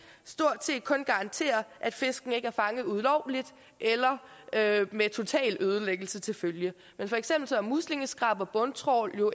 stort set kun garanterer at fiskene ikke er fanget ulovligt eller med total ødelæggelse til følge for eksempel er muslingeskrab og bundtrawl jo